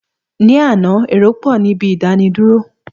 Ní àná, èrò pọ̀ ní ibi ìdánidúró.